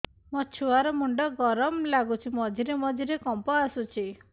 ମୋ ଛୁଆ ର ମୁଣ୍ଡ ଗରମ ଲାଗୁଚି ମଝିରେ ମଝିରେ କମ୍ପ ଆସୁଛି